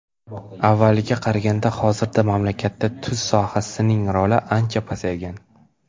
Avvalgiga qaraganda hozirda mamlakatda tuz sohasining roli ancha pasaygan.